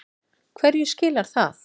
Hverju skilar það?